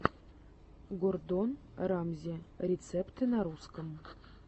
гордон рамзи рецепты на русском